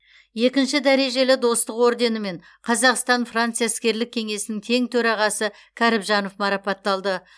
екінші дәрежелі достық орденімен қазақстан франция іскерлік кеңесінің тең төрағасы кәрібжанов марапатталды